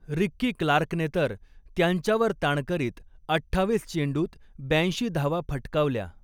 Ricky क्लार्कने तर त्यांच्यावर ताण करीत अठ्ठावीस चेंडूंत ब्यैंशी धावा फटकावल्या.